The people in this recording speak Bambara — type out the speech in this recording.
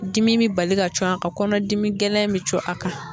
Dimi bi bali ka co a ka kɔnɔdimi gɛlɛn bi cun a kan